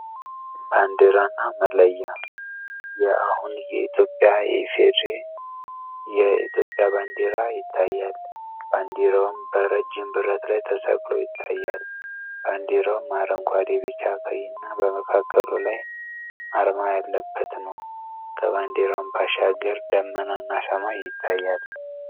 ባንዲራ እና መለያ አሁን የኢትዮጵያ የኢፌድሪ የኢትዮጵያ ባንዲራ ይታያል። ባንዲራውም በረጅም ብረት ላይ ተሰቅሎ ይታያል። ባንዲራውም አረንጓዴ፣ ቢጫ፣ ቀይ እና በመካክሉ ላይ አርማ ያለበት ነው። ከባንዲራው ባሻገር ዳመና እና ሰማይ ይታያል።